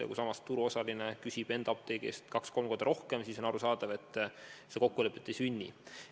Ja kui samas turuosaline küsib enda apteegi eest kaks või kolm korda rohkem, siis on arusaadav, et kokkulepet ei sünni.